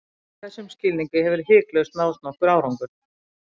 í þessum skilningi hefur hiklaust náðst nokkur árangur